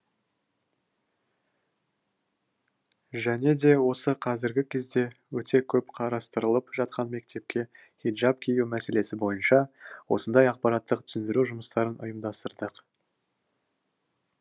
және де осы қазіргі кезде өте көп қарастырылып жатқан мектепке хиджаб кию мәселесі бойынша осындай ақпараттық түсіндіру жұмыстарын ұйымдастырдық